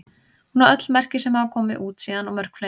Hún á öll merki sem hafa komið út síðan og mörg fleiri.